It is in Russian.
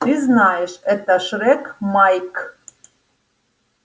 ты знаешь это шрек майк